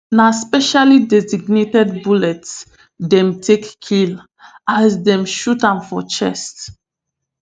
na specially designed bullets dem take kill as dem shoot am for chest